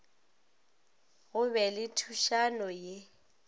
go be le thušano ye